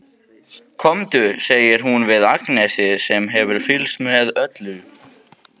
Komdu, segir hún við Agnesi sem hefur fylgst með öllu.